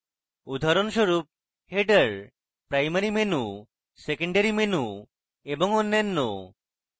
উদাহরণস্বরূপ: header primary menu secondary menu এবং অন্যান্য